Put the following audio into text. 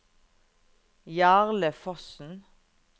Jarle Fossen